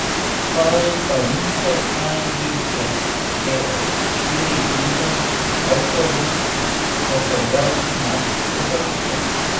Spali pa niso, saj jih je že ob štirih zjutraj avtobus popeljal na letališče.